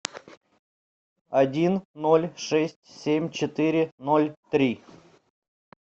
один ноль шесть семь четыре ноль три